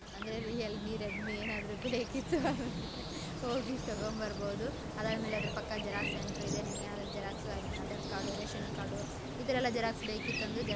ಅಂದ್ರೆ Realme Redmi ಏನಾದ್ರು ಬೇಕಿತ್ತು ಅಂದ್ರೆ ಹೋಗಿ ತಗೊಂಡ್ ಬರ್ಬೋದು ಅದಾದ್ ಮೇಲೆ ಆದ್ರೂ ಪಕ್ಕ ಜೆರಾಕ್ಸ್ ಸೆಂಟರ್ ಇದೆ ಈ I mean Aadhaar card ration card xerox ಈ ತರಾ ಎಲ್ಲ ಬೇಕಿತ್ತು ಅಂದ್ರೆ--